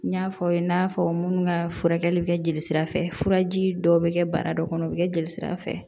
N y'a fɔ aw ye n y'a fɔ minnu ka furakɛli bi kɛ jelisira fɛ furaji dɔw be kɛ bara dɔ kɔnɔ u be kɛ jelisira fɛ